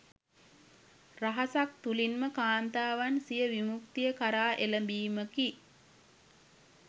රහසක් තුළින්ම කාන්තාවන් සිය විමුක්තිය කරා එළඹීමකි.